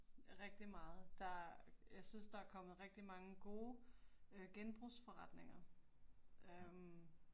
Rigtig meget, der, jeg synes der er kommet rigtig mange gode øh genbrugsforretninger, øh